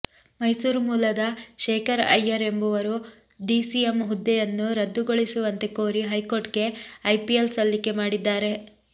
ಮೈಸೂರು ಮೂಲದ ಶೇಖರ್ ಐಯ್ಯರ್ ಎಂಬವರು ಡಿಸಿಎಂ ಹುದ್ದೆಯನ್ನು ರದ್ದು ಗೊಳಿಸುವಂತೆ ಕೋರಿ ಹೈಕೋರ್ಟ್ ಗೆ ಪಿಐಎಲ್ ಸಲ್ಲಿಕೆ ಮಾಡಿದ್ದಾರೆ